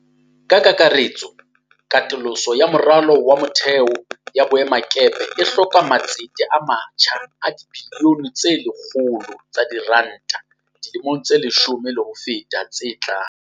Ka kakaretso, katoloso ya moralo wa motheo ya boemakepe e hloka matsete a matjha a dibiliyone tse 100 tsa diranta dilemong tse leshome le ho feta tse tlang.